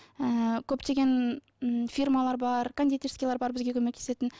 ы көптеген м фирмалар бар кондитерскийлер бар бізге көмектесетін